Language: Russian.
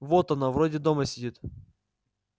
вот она вроде дома сидит